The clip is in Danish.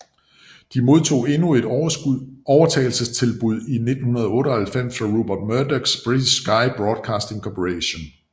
De modtog endnu et overtagelsestilbud i 1998 fra Rupert Murdochs British Sky Broadcasting Corporation